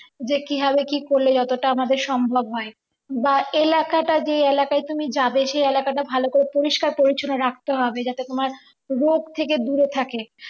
যে কিভাবে কি করলে যাতেটা তো আমাদের সম্ভব হয় বা এলাকাটা যে এলাকায় তুমি যাবে সেই এলাকাটা ভালো করে পরিষ্কার করেছে রাখতে হবে যাতে তোমার রোগ থেকে দূরে থাকো